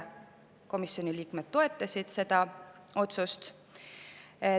Komisjoni liikmed toetasid seda otsust konsensuslikult.